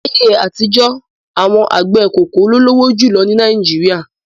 Láyé àtijọ́, awọn àgbẹ̀ koko ló lówó jù lọ ní Nàìjíríà.